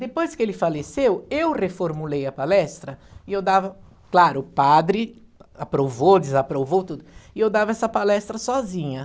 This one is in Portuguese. Depois que ele faleceu, eu reformulei a palestra e eu dava, claro, o padre aprovou, desaprovou tudo, e eu dava essa palestra sozinha.